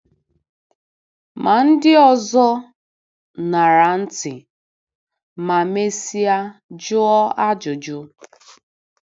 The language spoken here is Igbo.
Ma ndị ọzọ ṅara ntị, ma mesịa jụọ ajụjụ.